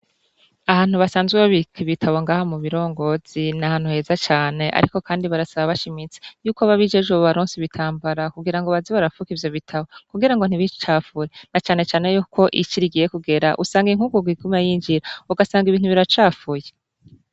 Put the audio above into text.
Ahantu basanzwe babika ibitabo ngaha mu birongozi, ni ahantu heza cane, ariko kandi barasaba bashimitse, yuko ababijejwe bobaronsa ibitambara kugira baze barapfuka ivyo bitabo ntibicafure , na canecane yuko ici rigiye kugera, usanga inkungugu iguma yinjira ugasanga ibintu biracafuye.